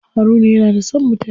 Haruna yana da son mutane.